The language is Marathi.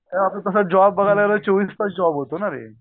आपलं तस जॉब बागाय लागल चोवीसतास जॉब होतोना ते